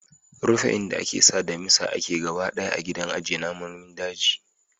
Rufe inda ake sa damisa ake gaba ɗaya a gidan ajiye namonin daji.